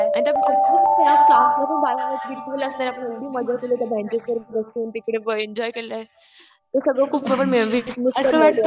आणि त्यात of course यार क्लासमधून बेंचेस वर बसून तिकडे एन्जॉय केलंय. ते सगळं खूप असं मेमरीज कि ज्या मॅटर करतात.